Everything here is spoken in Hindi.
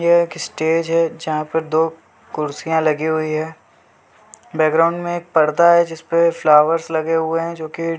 ये एक स्टेज है जहाँ पर दो कुर्सियां लगी हुई है बैकग्राउंड में एक पर्दा है जिसपे फ्लॉवर्स लगे हुए हैं जो की --